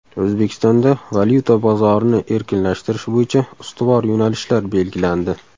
O‘zbekistonda valyuta bozorini erkinlashtirish bo‘yicha ustuvor yo‘nalishlar belgilandi.